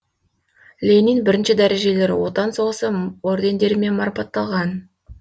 ленин бірінші дәрежелі отан соғысы ордендерімен марапатталған